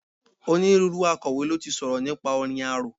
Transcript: Onírúurú Akọ̀wé ló ti sọ̀rọ̀ nípa orin arò.